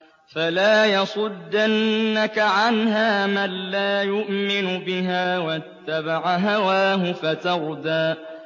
فَلَا يَصُدَّنَّكَ عَنْهَا مَن لَّا يُؤْمِنُ بِهَا وَاتَّبَعَ هَوَاهُ فَتَرْدَىٰ